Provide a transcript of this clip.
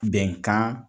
Bɛnkan